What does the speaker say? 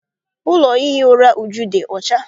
Ụlọ ihi ụra Uju dị ọcha.